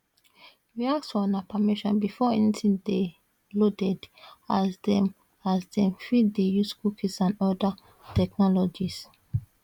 we ask for una permission before anytin dey loaded as dem as dem fit dey use cookies and oda technologies